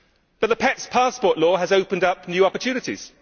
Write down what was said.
But the pets passport law has opened up new opportunities.